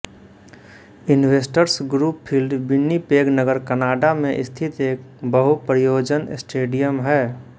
investors Group Field Winnipeg नगर Canada में स्थित एक बहु प्रयोजन स्टेडियम है